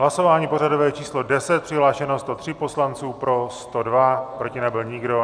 Hlasování pořadové číslo 10, přihlášeno 103 poslanců, pro 102, proti nebyl nikdo.